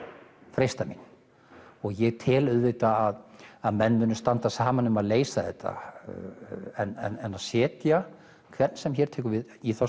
freistað mín og ég tel auðvitað að menn munu standa saman um að leysa þetta en að setja hvern sem hér tekur við í þá